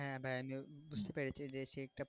হ্যাঁ ভাই আমি বুঝতে পেরেছি যে সেই একটা পালা,